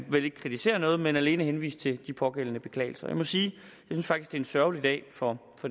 vil ikke kritisere noget men alene henvise til de pågældende beklagelser jeg må sige jeg faktisk en sørgelig dag for